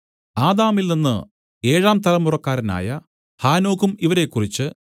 ആദാമിൽനിന്ന് ഏഴാംതലമുറക്കാരനായ ഹാനോക്കും ഇവരെക്കുറിച്ച്